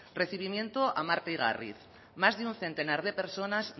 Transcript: recibimiento a marta igarriz más de un centenar de personas